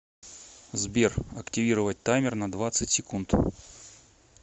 сбер активировать таймер на двадцать секунд